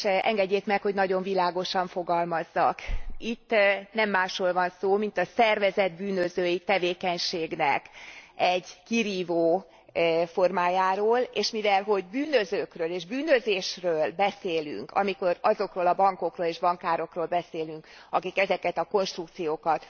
Engedjék meg, hogy nagyon világosan fogalmazzak itt nem másról van szó, mint a szervezett bűnözői tevékenységnek egy kirívó formájáról, és mivelhogy bűnözőkről és bűnözésről beszélünk, amikor azokról a bankokról és bankárokról beszélünk, akik ezeket a konstrukciókat